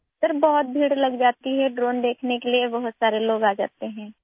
سر، بہت بھیڑ لگ جاتی ہے، ڈرون دیکھنے کے لیے بہت سے لوگ آتے ہیں